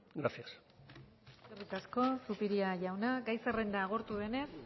gracias eskerrik asko zupiria jauna gai zerrenda agortu denez